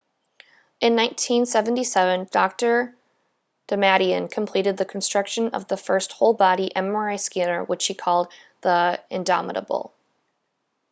in 1977 dr damadian completed the construction of the first whole-body mri scanner which he called the indomitable